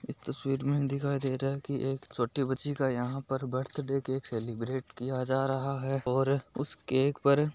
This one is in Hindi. इश तस्वीर में दिखाई दे रहा है की एक छोटी बच्ची का यहाँ पर बर्थडे केक सेलिब्रेट किया जा रहा है और उस केक पर--